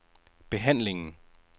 behandlingen